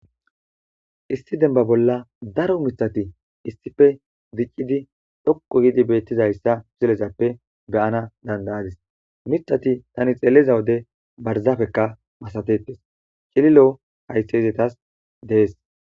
Issi denba bolla daro miththati issippe diciidi dhoqqu giidi beetizayssa misilezappe gaana danda'adis; miththati ane xeeliza wode barzapekka masatetees; cililo haythey izetas de'es.